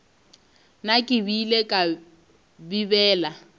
na ke beile kae bibele